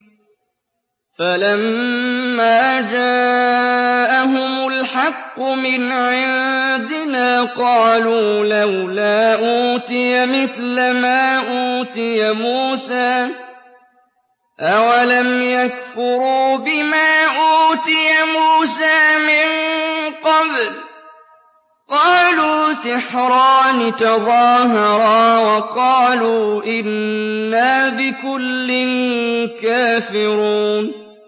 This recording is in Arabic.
فَلَمَّا جَاءَهُمُ الْحَقُّ مِنْ عِندِنَا قَالُوا لَوْلَا أُوتِيَ مِثْلَ مَا أُوتِيَ مُوسَىٰ ۚ أَوَلَمْ يَكْفُرُوا بِمَا أُوتِيَ مُوسَىٰ مِن قَبْلُ ۖ قَالُوا سِحْرَانِ تَظَاهَرَا وَقَالُوا إِنَّا بِكُلٍّ كَافِرُونَ